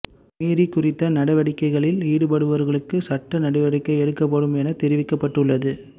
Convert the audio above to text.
மீறி குறித்த நடவடிக்கைகளில் ஈடுபடுபவர்களுக்கு சட்ட நடவடிக்கை எடுக்கப்படும் என தெரிவிக்கப்பட்டுள்ளது